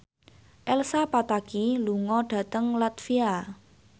Elsa Pataky lunga dhateng latvia